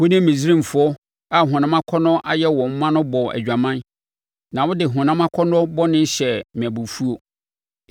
Wo ne Misraimfoɔ a honam akɔnnɔ ayɛ wɔn ma no bɔɔ adwaman, na wode honam akɔnnɔ bɔne hyɛɛ me abufuo.